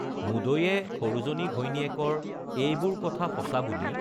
মুদৈয়ে সৰুজনী ঘৈণীয়েকৰ এইবোৰ কথা সঁচা বুলি